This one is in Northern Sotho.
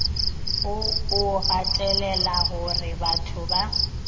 wo o gatelela gorebatho ba